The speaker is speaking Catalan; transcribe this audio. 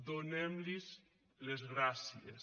donem los les gràcies